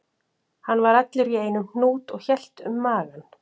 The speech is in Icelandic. Hann var allur í einum hnút og hélt um magann